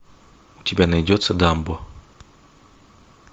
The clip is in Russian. у тебя найдется дамбо